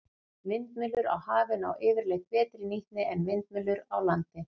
Vindmyllur á hafi ná yfirleitt betri nýtni en vindmyllur á landi.